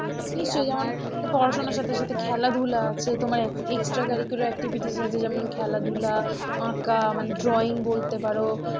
নিশ্চই, যেমন পড়াশোনার সাথে সাথে খেলাধুলা আছে তোমার extra curricular activities আছে যেমন খেলাধুলা, আঁকা মানে drawing বলতে পারো,